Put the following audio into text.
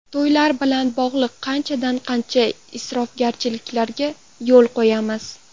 To‘ylar bilan bog‘liq qanchadan-qancha isrofgarchiliklarga yo‘l qo‘yamiz.